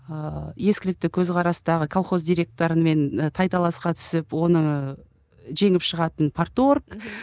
ыыы ескілікті көзқарастағы колхоз директорымен ы тайталасқа түсіп оны жеңіп шығатын порторг мхм